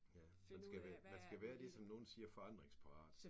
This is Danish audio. Ja. Man skal være man skal være ligesom nogen siger forandringsparat